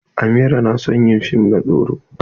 Amira na son yi fim na tsoron.